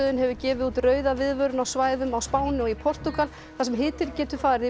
hefur gefið út rauða viðvörun á svæðum á Spáni og í Portúgal þar sem hitinn getur farið yfir